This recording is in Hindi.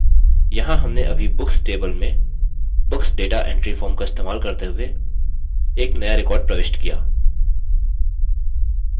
यहाँ हमने अभी books table में books data entry form का इस्तेमाल करते हुए एक नया record प्रविष्ट किया